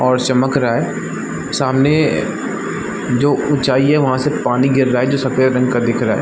और चमक रहा है सामने जो ऊंचाई है वहाँ से पानी गिर रहा है जो सफेद रंग का दिख रहा है।